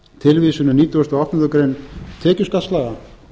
tilvísun í nítugasta og áttundu grein tekjuskattslaga